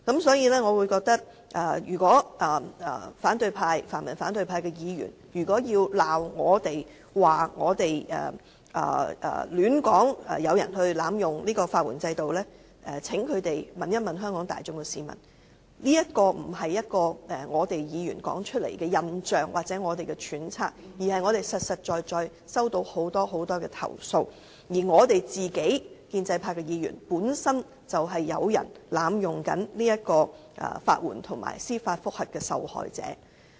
所以，如果泛民和反對派議員要責罵我們說有人濫用法援制度，請他們問問香港市民，這不是議員說出來的印象或揣測，而是我們實在收到的投訴，而我們建制派議員本身就是有人濫用法援及司法覆核的受害者。